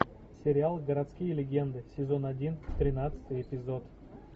сериал городские легенды сезон один тринадцатый эпизод